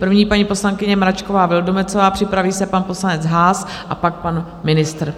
První paní poslankyně Mračková Vildumetzová, připraví se pan poslanec Haas a pak pan ministr.